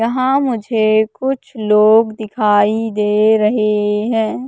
यहाँ मुझे कुछ लोग दिखाई दे रहें हैं।